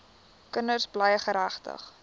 kinders bly geregtig